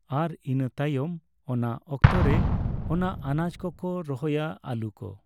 ᱟᱨ ᱤᱱᱟᱹ ᱛᱟᱭᱚᱢ ᱚᱱᱟ ᱚᱠᱛᱚ ᱨᱮ ᱚᱱᱟ ᱟᱱᱟᱡ ᱠᱚᱠᱚ ᱨᱚᱦᱚᱭᱟ ᱟᱹᱞᱩ ᱠᱚ